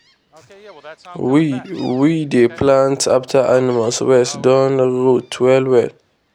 we we dey plant after animal waste don rot well well.